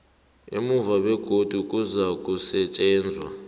emuva begodu kuzakusetjenzwa